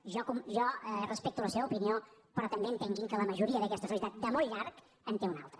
jo respecto la seva opinió però entenguin que la majoria d’aquesta societat de molt llarg en té una altra